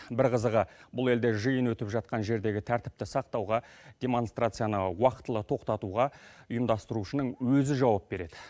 бір қызығы бұл елде жиын өтіп жатқан жердегі тәртіпті сақтауға демонстрацияны уақытылы тоқтатуға ұйымдастырушының өзі жауап береді